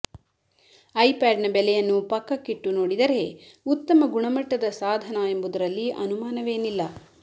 ಐಪ್ಯಾಡ್ನ ಬೆಲೆಯನ್ನು ಪಕ್ಕಕ್ಕಿಟ್ಟು ನೋಡಿದರೆ ಉತ್ತಮ ಗುಣಮಟ್ಟದ ಸಾಧನ ಎಂಬುದರಲ್ಲಿ ಅನುಮಾನವೇನಿಲ್ಲ